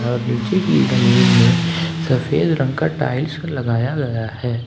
और नीचे की जमीन में सफेद रंग का टाइल्स लगाया गया है।